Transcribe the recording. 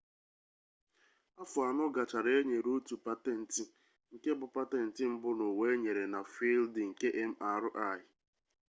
afọ anọ gachara e nyere otu patentị nke bụ patentị mbụ n'ụwa enyere na fịịldị nke mri